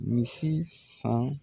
Misi san.